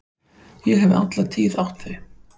Ég hef alla tíð átt þau.